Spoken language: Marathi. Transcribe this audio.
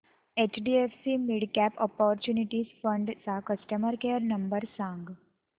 एचडीएफसी मिडकॅप ऑपर्च्युनिटीज फंड चा कस्टमर केअर नंबर सांग